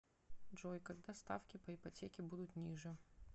джой когда ставки по ипотеке будут ниже